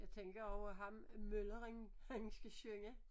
Jeg tænker også at ham mølleren han skal synge